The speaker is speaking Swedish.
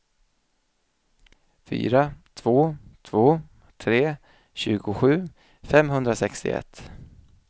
fyra två två tre tjugosju femhundrasextioett